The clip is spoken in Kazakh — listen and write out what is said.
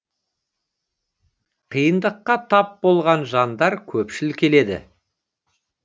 қиындыққа тап болған жандар көпшіл келеді